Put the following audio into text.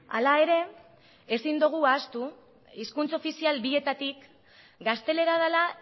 hala ere ezin dugu ahaztu hizkuntz ofizial bietatik gaztelera dela